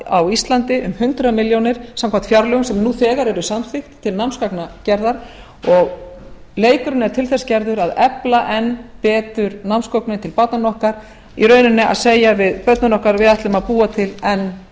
íslandi um hundrað milljónir samkvæmt fjárlögum sem nú þegar eru samþykkt til námsgagnagerðar og leikurinn er til þess gerður að efla enn betur námsgögnin til barnanna okkar í rauninni að segja við börnin okkar við ætlum að búa til enn